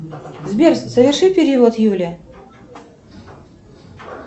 сбер соверши перевод юле